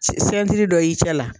Sɛn sɛntiri dɔ y'i cɛ la.